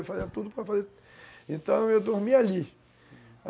Eu fazia tudo para fazer... Então, eu dormia ali, uhum